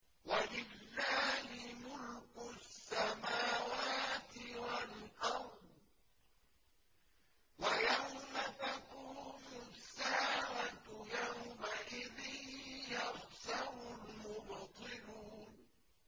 وَلِلَّهِ مُلْكُ السَّمَاوَاتِ وَالْأَرْضِ ۚ وَيَوْمَ تَقُومُ السَّاعَةُ يَوْمَئِذٍ يَخْسَرُ الْمُبْطِلُونَ